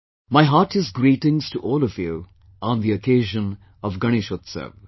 My heartiest greetings to all of you on the occasion of Ganeshotsav